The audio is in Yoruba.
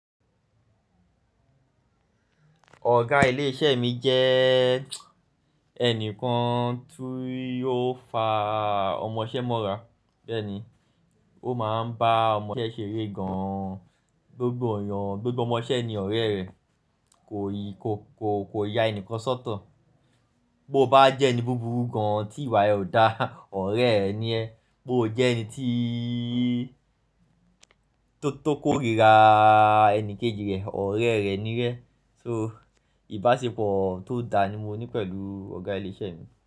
Ọ̀gá ilé iṣẹ́ mi jẹ́ ẹnìkan tu yóò fa ọmọṣẹ́ mọ́ra. Bẹ́ẹ̀ ni, ó máa ń bá ọmọṣẹ́ ṣeré gan an. Gbogbo ọmọṣẹ́ ni ọ̀rẹ́ rẹ̀. Kò ya ẹnìkan sọ́tọ̀. Bo bá jẹ́ ẹni búburú gan an tí ìwà ẹ ò da, ọ̀rẹ́ rẹ ni ẹ́. Bo jẹ́ ẹni tiii tó tó kórìíraaa ẹni kejì rẹ̀, ọ̀rẹ́ rẹ ni rẹ́. So ìbáṣepọ̀ tó da ni mo ní pẹ̀lú ọ̀gá ilé iṣẹ́ mi.